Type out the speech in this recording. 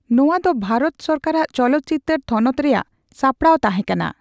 ᱱᱚᱣᱟ ᱫᱚ ᱵᱷᱟᱨᱚᱛ ᱥᱚᱨᱠᱟᱨᱟᱜ ᱪᱚᱞᱚᱛᱪᱤᱛᱟᱹᱨ ᱛᱷᱚᱱᱚᱛ ᱨᱮᱭᱟᱜ ᱥᱟᱯᱲᱟᱣ ᱛᱟᱦᱮᱸᱠᱟᱱᱟ ᱾